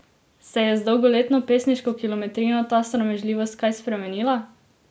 Se je z dolgoletno pesniško kilometrino ta sramežljivost kaj spremenila?